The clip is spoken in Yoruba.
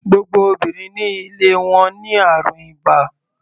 Gbogbo obìnrin ní ilé wọn ní àrùn ibà.